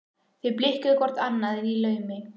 Þau blikkuðu hvort annað í laumi.